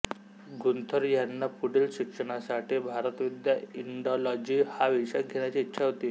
Gunther ह्यांना पुढील शिक्षणासाठी भारतविद्या इंडॉलॉजी हा विषय घेण्याची इच्छा होती